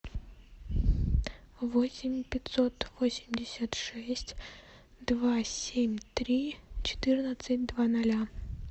восемь пятьсот восемьдесят шесть два семь три четырнадцать два ноля